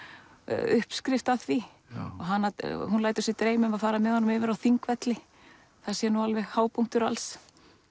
uppskrift að því hún lætur sig dreyma um að fara með honum yfir á Þingvelli það sé alveg hápunktur alls